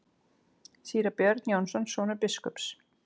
Síra Björn Jónsson, sonur biskups.